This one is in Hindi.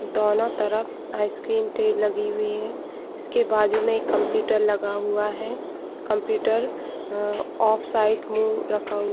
दोनों तरफ आइसक्रीम ट्री लगी हुई है उसके बाजू में एक कंप्यूटर लगा हुआ है कंप्यूटर अ ऑफ साइड मुँह रखा हु--